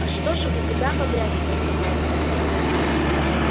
а что же у тебя побрякивает за пазухой